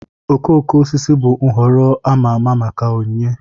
Okooko osisi bụ nhọrọ a ma ama maka onyinye